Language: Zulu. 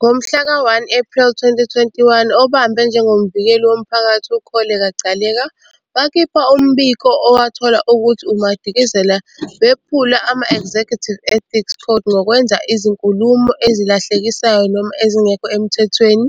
Ngomhlaka 1 Ephreli 2021, obambe njengoMvikeli woMphakathi uKholeka Gcaleka wakhipha umbiko owathola ukuthi uMadikizela wephule ama-Executive Ethics Codes ngokwenza izinkulumo ezilahlekisayo noma ezingekho emthethweni